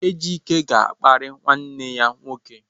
Ejike ga-akparị nwanne ya nwoke.